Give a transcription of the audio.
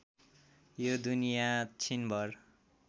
यो दुनिया छिनभर